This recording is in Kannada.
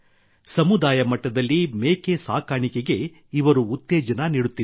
ಸಮುದಾಯ ಮಟ್ಟದಲ್ಲಿ ಮೇಕೆ ಸಾಕಾಣಿಕೆಗೆ ಇವರು ಉತ್ತೇಜನ ನೀಡುತ್ತಿದ್ದಾರೆ